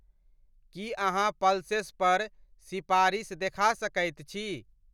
की अहाँ पल्सेस पर सिपारिस देखा सकैत छी ?